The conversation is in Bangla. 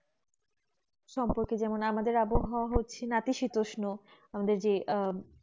সম্পর্কে যেমন আমাদের আবহাওয়া হচ্ছে নতিশীতোষ্ণ আহ